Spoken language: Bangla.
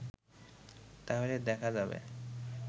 তাহলে দেখা যাবে